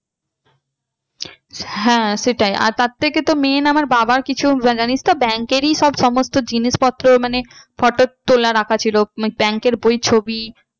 হ্যাঁ সেটাই আর তার থেকে তো main আমার বাবার কিছু জানিস তো bank এরই সব সমস্ত জিনিসপত্র মানে photo তোলা রাখা ছিল মানে bank এর বই ছবি